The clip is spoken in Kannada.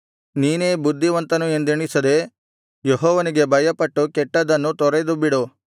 ನೀನೇ ಬುದ್ಧಿವಂತನು ಎಂದೆಣಿಸದೆ ಯೆಹೋವನಿಗೆ ಭಯಪಟ್ಟು ಕೆಟ್ಟದ್ದನ್ನು ತೊರೆದುಬಿಡು